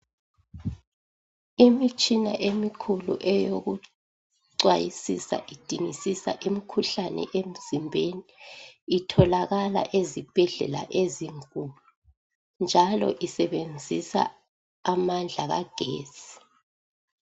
Imitshina emikhulu eyokucwayisisa idingisisa imikhuhlane emzimbeni itholakala ezibhedlela ezinkulu njalo isebenzisa amandla kagetsi.